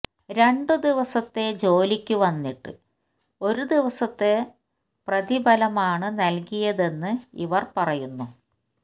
രണ്ട് ദിവസത്തെ ജോലിക്ക് വന്നിട്ട് ഒരു ദിവസത്തെ രപതിഫലമാണ് നല്കിയതെന്നു ഇവര് പറയുന്നു